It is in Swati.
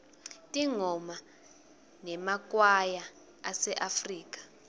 tingoma temakwaya aseafrika